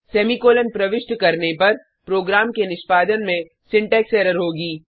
semicolon प्रविष्ट करने पर प्रोग्राम के निष्पादन में सिंटेक्स एरर होगी